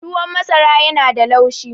tuwon masara yana da laushi